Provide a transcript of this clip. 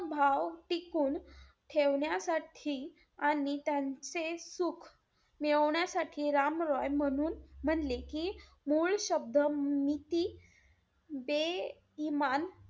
समभाव टिकून ठेवण्यासाठी आणि त्यांचे सुख मिळवण्यासाठी राम रॉय म्हणून म्हणले कि, मूळ शब्द नीती दे इमान,